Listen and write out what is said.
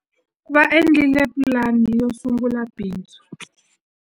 Va endlile pulani yo sungula bindzu.